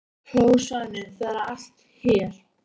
hló Svanur, það er allt hér!